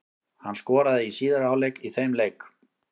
Hann skoraði í síðari hálfleik í þeim leik.